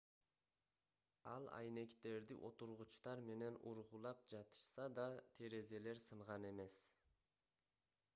эл айнектерди отургучтар менен ургулап жатышса да терезелер сынган эмес